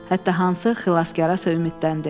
Hətta hansı xilaskara ümidləndi.